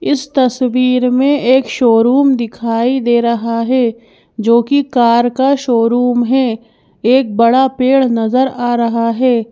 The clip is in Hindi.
इस तस्वीर में एक शोरूम दिखाई दे रहा है जो कि कार का शोरूम है एक बड़ा पेड़ नजर आ रहा है।